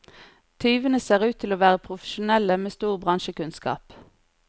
Tyvene ser ut til å være profesjonelle med stor bransjekunnskap.